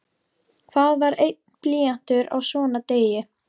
Hvað var einn blýantur á svona degi?